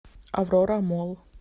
аврора молл